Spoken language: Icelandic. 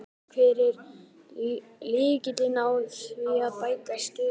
En hver er lykillinn að því að bæta stöðu barna?